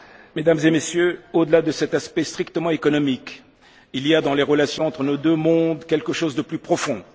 même. Mesdames et Messieurs, au delà cet aspect strictement économique, il y a dans les relations entre nos deux mondes quelque chose de plus profond.